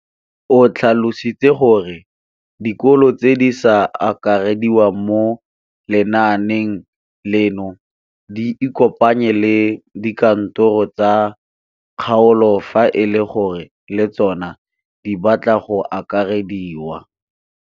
O tlhalositse gore dikolo tse di sa akarediwang mo lenaaneng leno di ikopanye le dikantoro tsa kgaolo fa e le gore le tsona di batla go akarediwa.